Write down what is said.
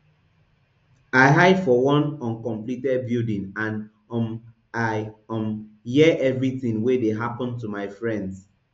i hide for one uncompleted building and um i um hear everything wey dey happun to my friends